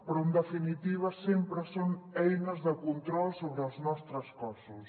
però en definitiva sempre són eines de control sobre els nostres cossos